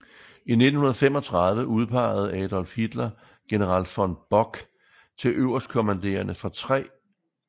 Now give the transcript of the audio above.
I 1935 udpegede Adolf Hitler general von Bock til øverstkommanderende for 3